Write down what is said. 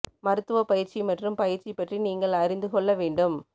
மருத்துவப் பயிற்சி மற்றும் பயிற்சி பற்றி நீங்கள் அறிந்து கொள்ள வேண்டும்